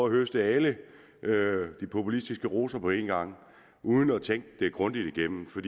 at høste alle de populistiske roser på en gang uden at tænke det grundigt igennem for